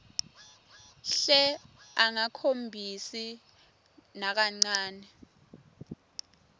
hle angakhombisi nakancane